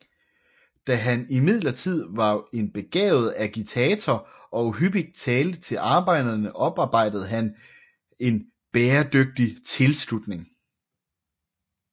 Da han imidlertid var en begavet agitator og hyppigt talte til arbejdere oparbejdede han en bæredygtig tilslutning